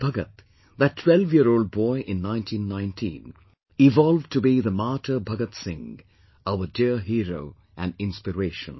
And Bhagat, that 12year old boy in 1919, evolved to be the martyr Bhagat Singh, our dear hero and inspiration